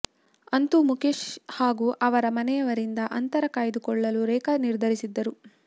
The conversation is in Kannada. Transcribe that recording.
ಅಂತೂ ಮುಖೇಶ್ ಹಾಗೂ ಅವರ ಮನೆಯವರಿಂದ ಅಂತರ ಕಾಯ್ದುಕೊಳ್ಳಲು ರೇಖಾ ನಿರ್ಧರಿಸಿದ್ದರು